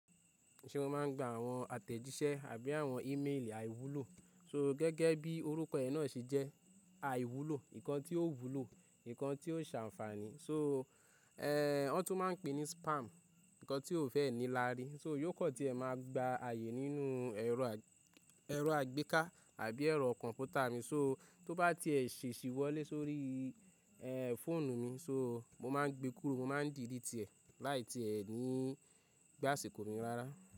Ṣé ò máa ń gba àwọn àtẹ̀jíṣẹ́ àbí àwọn ímeèlì àìwúlò? So, gẹgẹ bí orúkọ ẹ nà sé jẹ, aiwulo nkán tí ò wúlò, nkan tí ò sè anfaani. So, ẹ́, wọ́n tún máa ń pè é ní spam, ǹkan tí o fẹ́ ní lári. So, yóò kọ́ tí ẹ máa gba ààyè nínú ẹ̀rọ àì, ẹ̀rọ àgbéká àbí ẹ̀rọ kọ̀m̀pútà mi. So, tó bá ti ẹ ṣèṣì wọlé sórí, ẹ́, fóònù mi, so mo má ń gbe kúrò, mo má ń delete ẹ́ láì tí ẹ ní gbà ṣe kò mi rárá.